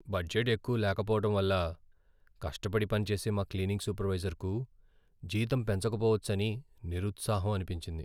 Budget ఎక్కువ లేకపోవటం వల్ల కష్టపడి పనిచేసే మా క్లీనింగ్ సూపర్వైజర్కు జీతం పెంచకపోవచ్చని నిరుత్సాహం అనిపించింది.